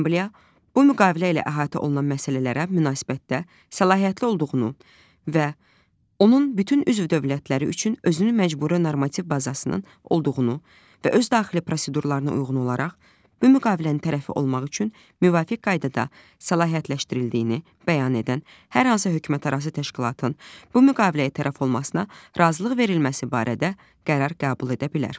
Assambliya bu müqavilə ilə əhatə olunan məsələlərə münasibətdə səlahiyyətli olduğunu və onun bütün üzv dövlətləri üçün özünü məcburi normativ bazasının olduğunu və öz daxili prosedurlarına uyğun olaraq bu müqavilənin tərəfi olmaq üçün müvafiq qaydada səlahiyyətləşdirildiyini bəyan edən hər hansı hökumətlərarası təşkilatın bu müqaviləyə tərəf olmasına razılıq verilməsi barədə qərar qəbul edə bilər.